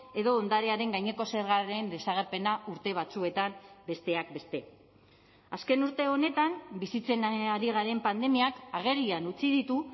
edo ondarearen gaineko zergaren desagerpena urte batzuetan besteak beste azken urte honetan bizitzen ari garen pandemiak agerian utzi ditu